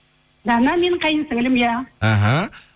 дана менің қайынсіңлілім иә іхі